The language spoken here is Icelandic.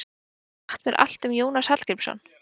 getið þið sagt mér allt um jónas hallgrímsson